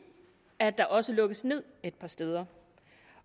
at der også lukkes ned et par steder